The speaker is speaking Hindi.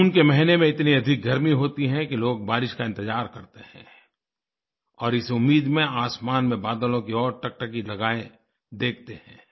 जून के महीने में इतनी अधिक गर्मी होती है कि लोग बारिश का इंतज़ार करते हैं और इस उम्मीद में आसमान में बादलों की ओर टकटकी लगाये देखते हैं